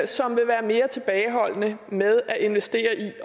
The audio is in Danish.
som vil være mere tilbageholdende med at investere i